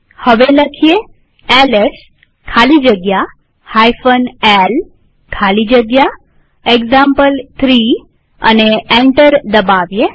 હવે એલએસ ખાલી જગ્યા l ખાલી જગ્યા એક્ઝામ્પલ3 લખી એન્ટર દબાવીએ